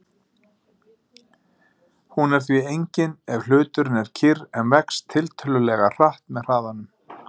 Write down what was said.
Hún er því engin ef hluturinn er kyrr en vex tiltölulega hratt með hraðanum.